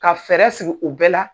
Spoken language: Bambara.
Ka fɛɛrɛ sigi u bɛɛ la